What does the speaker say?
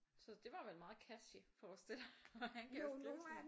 Så det var vel meget catchy forstiller jeg mig han kan jo skrive sådan